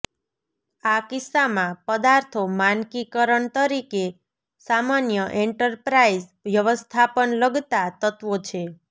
આ કિસ્સામાં પદાર્થો માનકીકરણ તરીકે સામાન્ય એન્ટરપ્રાઇઝ વ્યવસ્થાપન લગતા તત્વો છે